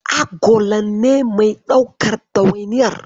Agolan ne mai daukan ɗawainiyar.